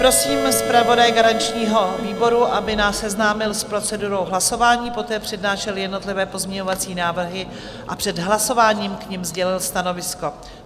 Prosím zpravodaje garančního výboru, aby nás seznámil s procedurou hlasování, poté přednášel jednotlivé pozměňovací návrhy a před hlasováním k nim sdělil stanovisko.